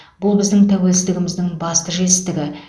бұл біздің тәуелсіздігіміздің басты жетістігі